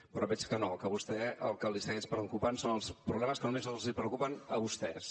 però veig que no que a vostè el que li segueix preocupant són els problemes que només els preocupen a vostès